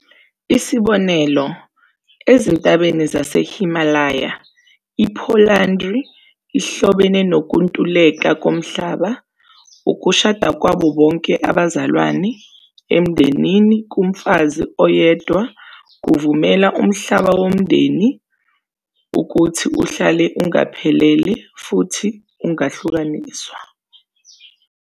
Isibonelo, ezintabeni zaseHimalaya i-polyandry ihlobene nokuntuleka komhlaba, ukushada kwabo bonke abazalwane emndenini kumfazi oyedwa kuvumela umhlaba womndeni ukuthi uhlale ungaphelele futhi ungahlukaniswa.